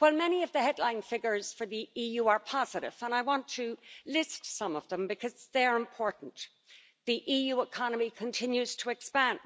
Many of the headline figures for the EU are positive, and I want to list some of them because they are important the EU economy continues to expand,